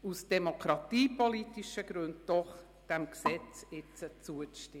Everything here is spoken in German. Aus demokratiepolitischen Gründen bitte ich Sie jedoch, diesem Gesetz jetzt zuzustimmen.